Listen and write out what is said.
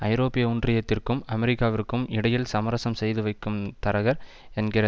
ஐரோப்பிய ஒன்றியத்திற்கும் அமெரிக்காவிற்கும் இடையில் சமரசம் செய்து வைக்கும் தரகர் என்கிற